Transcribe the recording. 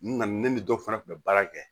N nana ne ni dɔ fana tun bɛ baara kɛ